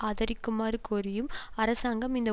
ஆதரிக்குமாறு கோரியும் அரசாங்கம் இந்த